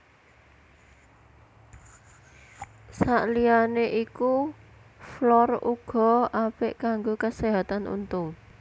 Saliyané iku fluor uga apik kanggo kaséhatan untu